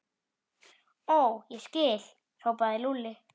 Ó, ég skil! hrópaði Lúlli.